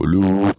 Olu